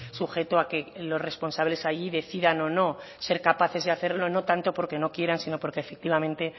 sujeto a que los responsables allí decidan o no ser capaces de hacerlo no tanto porque no quieran sino porque efectivamente